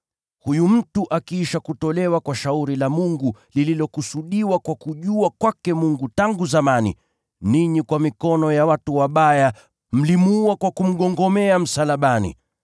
Huyu mtu akiisha kutolewa kwa shauri la Mungu lililokusudiwa kwa kujua kwake Mungu tangu zamani, ninyi, kwa mikono ya watu wabaya, mlimuua kwa kumgongomea msalabani.